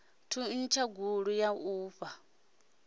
thuntsha gulu ya u fha